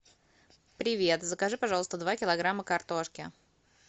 привет закажи пожалуйста два килограмма картошки